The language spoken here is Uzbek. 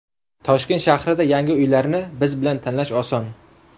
Toshkent shahrida yangi uylarni biz bilan tanlash oson!